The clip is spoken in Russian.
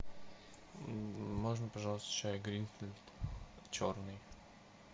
можно пожалуйста чай гринфилд черный